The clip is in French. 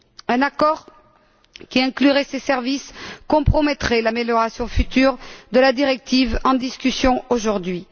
Un accord qui inclurait ces services compromettrait l'amélioration future de la directive en discussion aujourd'hui.